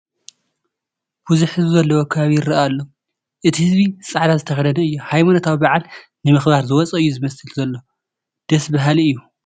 ብዙሕ ህዝቢ ዘለዎ ከባቢ ይርአ ኣሎ፡፡ እቲ ህዝቢ ፃዕዳ ዝተኸደነ እዩ፡፡ ሃይማኖታዊ በዓል ንምኽባር ዝወፀ እዩ ዝመስል ዘሎ፡፡ ደስ በሃሊ እዩ፡፡